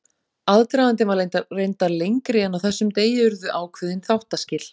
Aðdragandinn var reyndar lengri en á þessum degi urðu ákveðin þáttaskil.